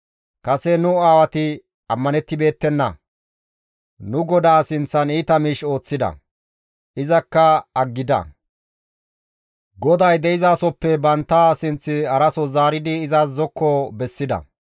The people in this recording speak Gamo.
Kase nu aawati ammanettibeettenna; nu GODAA sinththan iita miish ooththida; izakka aggida; GODAY de7izasoppe bantta sinththi haraso zaaridi izas zokko bessida.